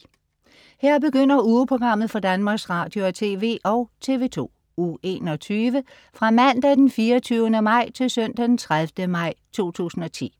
Her begynder ugeprogrammet for Danmarks Radio- og TV og TV2 Uge 21 Fra Mandag den 24. maj Til Søndag den 30. maj 2010